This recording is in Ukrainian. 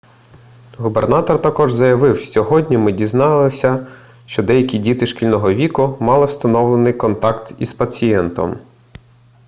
губернатор також заявив сьогодні ми дізналися що деякі діти шкільного віку мали встановлений контакт із пацієнтом